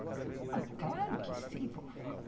Ela falou, claro que sei, vovó.